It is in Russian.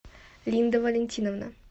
линда валентиновна